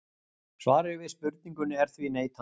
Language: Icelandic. Svarið við spurningunni er því neitandi.